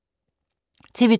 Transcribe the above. TV 2